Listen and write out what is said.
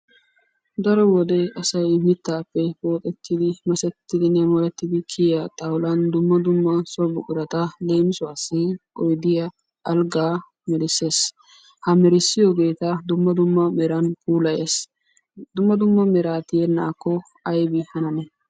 Daro wode asay mittappe pooxettidi, masettidinne molettidi kiyyiya xawulan dumma dumma so buqurata leemisuwassi oyddiya, alggaa merissees. Ha merissiyoogeeta dumma dumma meran puilayees. Dumma dumma mera tiyyenakko aybbi hanane?